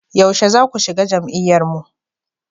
Yaushe zaku shiga jam'iyyar mu?